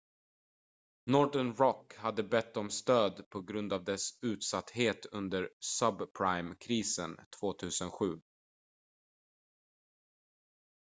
northern rock hade bett om stöd på grund av dess utsatthet under subprime-krisen 2007